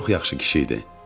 Çox yaxşı kişi idi.